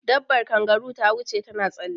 Dabar kangaru ta wuce ta na tsalle